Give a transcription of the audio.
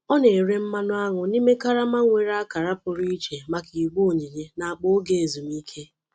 Ọ na-ere mmanụaṅụ n’ime karama nwere akara pụrụ iche maka igbe onyinye na akpa oge ezumike.